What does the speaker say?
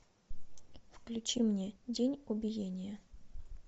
включи мне день убиения